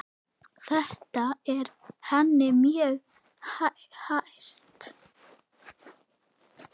Þetta er henni mjög kært.